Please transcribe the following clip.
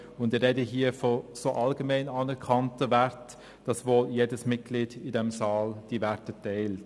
Ich spreche von allgemein anerkannten Werten, die wohl jedes Mitglied in diesem Saal teilt.